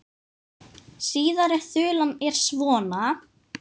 Síðari þulan er svona